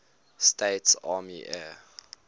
states army air